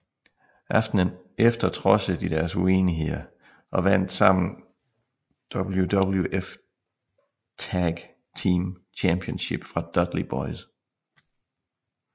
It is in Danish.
Aftenen efter trodsede de deres uenigheder og vandt sammen WWF Tag Team Championship fra Dudley Boyz